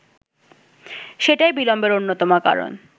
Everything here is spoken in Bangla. সেটাই বিলম্বের অন্যতম কারণ